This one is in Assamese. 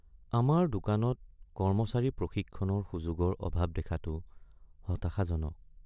আমাৰ দোকানত কৰ্মচাৰী প্ৰশিক্ষণৰ সুযোগৰ অভাৱ দেখাটো হতাশাজনক।